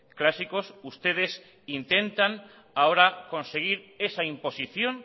clásicos ustedes intentan ahora conseguir esa imposición